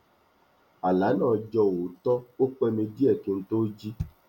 àlá náà jọ òótọ ó pẹ mi díẹ kí n tó jí